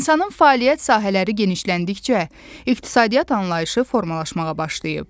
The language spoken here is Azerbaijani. İnsanın fəaliyyət sahələri genişləndikcə iqtisadiyyat anlayışı formalaşmağa başlayıb.